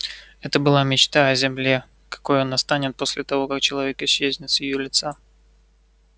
это была мечта о земле какой она станет после того как человек исчезнет с её лица